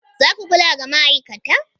Za ku kula da ma'aikata?